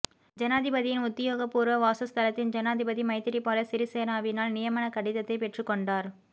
ஜனாதிபதியின் உத்தியோகபூர்வ வாசஸ்தலத்தில் ஜனாதிபதி மைத்திரிபால சிறிசேனவினால் நியமனக்கடிதத்தை பெற்றுக் கொண்டார்